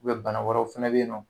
bana wɛrɛw fɛnɛ bɛ ye nɔ.